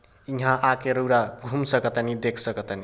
यहां आके रउरा घूम सका तानी देख सका तानी।